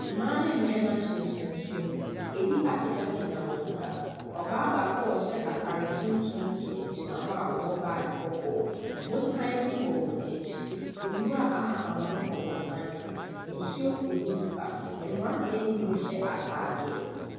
Mmaa ne mmarima gyina nsuo ho. Ebi apegyapegya wɔn nsa. Ɔbaa baako a ɔhyɛ ataare tuntum nso gyina hɔ a ɔbɔ butdge kɔkɔɔ. Botan bi wɔ wɔn akyi. Nwura ahahanmono wɔ botan no ho. Nsuo firi mu reba. Mmranteɛ ne bi nhyɛ ataadeɛ.